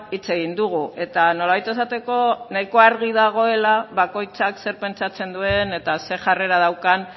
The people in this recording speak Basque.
hitz egin dugu eta nolabait esateko nahiko argi dagoela bakoitzak zer pentsatzen duen eta ze jarrera daukan